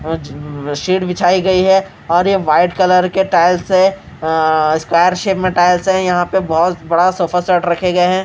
आज सीट बिछाई गई है और ये वाइट कलर के टाइल्स है अ स्क्वायर शेप में टाइल्स है यहाँ पर बहोत बड़ा सोफा सेट रखे गए है।